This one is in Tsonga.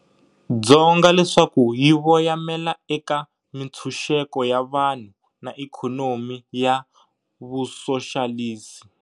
Dzonga leswaku yi voyamela eka mintshuxeko ya vanhu na ikhonomi ya Vusoxalisi.